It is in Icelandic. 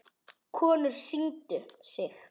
Konur signdu sig.